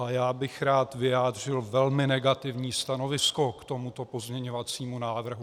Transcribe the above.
A já bych rád vyjádřil velmi negativní stanovisko k tomuto pozměňovacímu návrhu.